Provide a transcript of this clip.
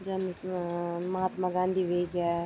जन अ-अ महात्मा गाँधी वे ग्या।